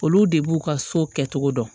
Olu de b'u ka so kɛcogo dɔn